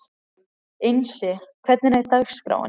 Einsi, hvernig er dagskráin?